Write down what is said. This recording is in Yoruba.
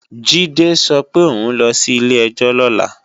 Jídé sọ pé òun ló sí ilé-ẹjọ́ lọ́la